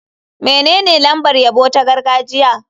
Menene lambar yabo ta gargajiya?